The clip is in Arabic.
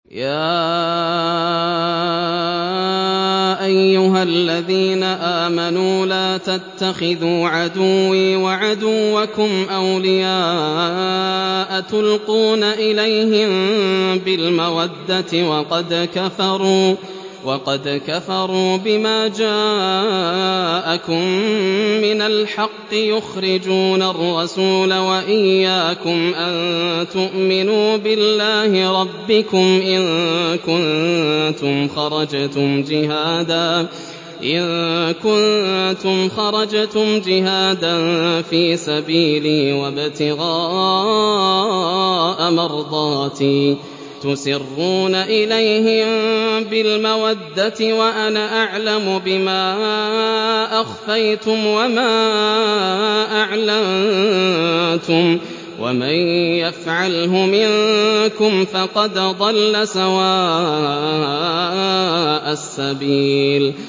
يَا أَيُّهَا الَّذِينَ آمَنُوا لَا تَتَّخِذُوا عَدُوِّي وَعَدُوَّكُمْ أَوْلِيَاءَ تُلْقُونَ إِلَيْهِم بِالْمَوَدَّةِ وَقَدْ كَفَرُوا بِمَا جَاءَكُم مِّنَ الْحَقِّ يُخْرِجُونَ الرَّسُولَ وَإِيَّاكُمْ ۙ أَن تُؤْمِنُوا بِاللَّهِ رَبِّكُمْ إِن كُنتُمْ خَرَجْتُمْ جِهَادًا فِي سَبِيلِي وَابْتِغَاءَ مَرْضَاتِي ۚ تُسِرُّونَ إِلَيْهِم بِالْمَوَدَّةِ وَأَنَا أَعْلَمُ بِمَا أَخْفَيْتُمْ وَمَا أَعْلَنتُمْ ۚ وَمَن يَفْعَلْهُ مِنكُمْ فَقَدْ ضَلَّ سَوَاءَ السَّبِيلِ